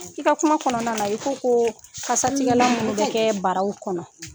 I ka kuma kɔnɔna na i ko ko kasatigɛlan munnu bɛ kɛ baraw kɔnɔ.